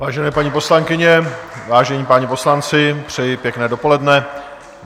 Vážené paní poslankyně, vážení páni poslanci, přeji pěkné dopoledne.